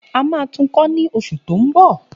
A máa tún kọ́ ní oṣù ti ń mbọ